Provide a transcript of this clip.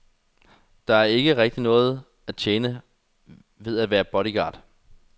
Der er ikke rigtig noget at tjene ved at være bodyguard.